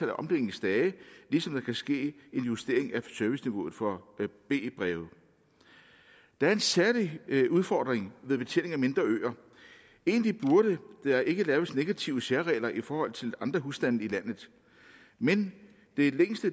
af omdelingsdage ligesom der kan ske en justering af serviceniveauet for b breve der er en særlig udfordring ved betjening af mindre øer egentlig burde der ikke laves negative særregler i forhold til andre husstande i landet men